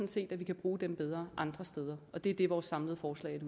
set at vi kan bruge dem bedre andre steder og det er det vores samlede forslag